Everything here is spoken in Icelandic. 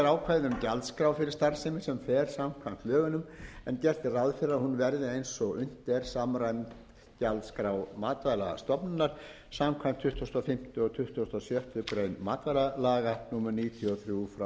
um gjaldskrá fyrir starfsemi sem fer samkvæmt lögunum er gert er ráð fyrri að hún verði eins og unnt er samræmd gjaldskrá matvælastofnunar samkvæmt tuttugustu og fimmta og tuttugasta og sjöttu grein matvælalaga númer níutíu og þrjú nítján hundruð níutíu og fimm